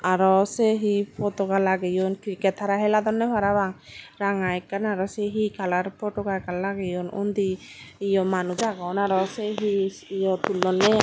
arow saye he potoka lagaone cricket hara heladonnay parapang raga ekan arow say he colour potoka ekan lagaone undi eay manus aagon arow eay tulonayay.